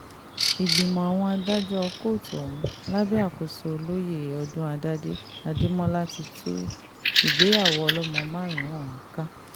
ìgbìmọ̀ àwọn adájọ́ kóòtù ọ̀hún lábẹ́ àkóso olóyè odúnádádé adémọlá ti tú ìgbéyàwó ọlọ́mọ márùn-ún ọ̀hún ká